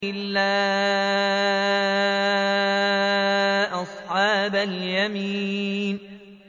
إِلَّا أَصْحَابَ الْيَمِينِ